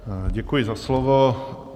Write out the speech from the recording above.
Děkuji za slovo.